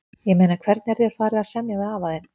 Ég meina hvernig er þér farið að semja við afa þinn?